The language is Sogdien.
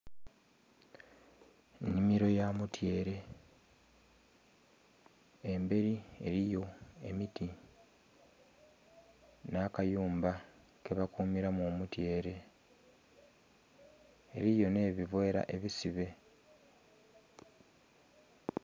Nhimiro ya mutyere emberi eriyo emiti nha kayumba ke bakumiramu omutyere eriyo nhe buveera eisibe.